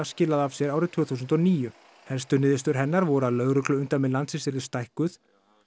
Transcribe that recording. skilaði af sér árið tvö þúsund og níu helstu niðurstöður hennar voru að lögregluumdæmi landsins yrðu stækkuð